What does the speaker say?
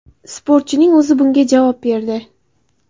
Sportchining o‘zi bunga javob berdi.